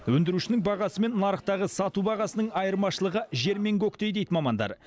өндірушінің бағасы мен нарықтағы сату бағасының айырмашылығы жер мен көктей дейді мамандар